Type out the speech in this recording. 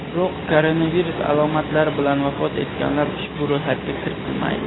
biroq koronavirus alomatlari bilan vafot etganlar ushbu ro‘yxatga kiritilmaydi.